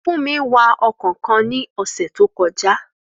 Fúnmi wa ọkọ̀ kan ní ọ̀sẹ̀ tó kọjá